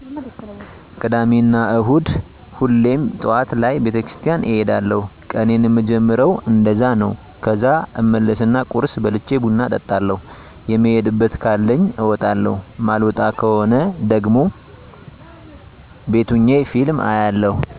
ቅዳሜና እሁድ ሁሌም ጠዋት ላይ ቤተክርስቲያን እሄዳለዉ ቀኔን ምጀምረዉ እንደዛ ነዉ ከዛ እመለስና ቁርስ በልቸ ቡና እጠጣለዉ የምሄድበት ካለኝ አወጣለዉ ማልወጣ ከሆነ ደሞ ቤት ሆኘ ፊልም አያለዉ